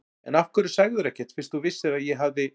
En af hverju sagðirðu ekkert fyrst þú vissir að ég hafði.